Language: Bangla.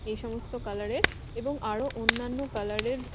এই সমস্ত কালার -এর এবং আরো অন্যান্য কালার -এর --